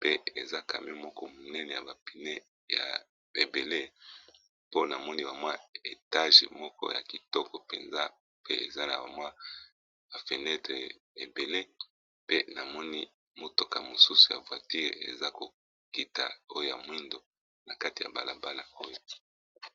pe eza camio moko monene ya bapine ya ebele mpona moni bamwa etage moko ya kitoko mpenza pe eza na bamwa ya fenetre ebele pe namoni motoka mosusu ya voiture eza kokita oyo ya mwindo na kati ya balabala oyo.